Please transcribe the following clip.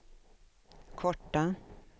korta